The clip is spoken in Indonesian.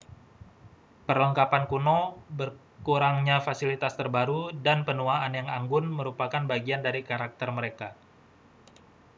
perlengkapan kuno kurangnya fasilitas terbaru dan penuaan yang anggun merupakan bagian dari karakter mereka